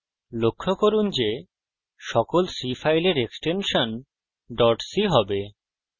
লক্ষ্য করুন যে সকল c ফাইলের এক্সটেনশন ডট c হবে